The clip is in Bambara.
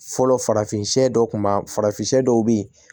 Fɔlɔ farafin dɔw kun b'a farafin dɔw be ye